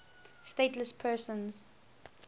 stateless persons